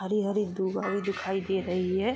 हरी-हरी दूब हरी दिखाई दे रही है।